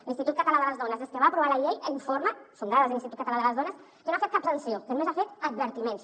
l’institut català de les dones des que va aprovar la llei informa són dades de l’institut català de les dones que no han fet cap sanció que només ha fet advertiments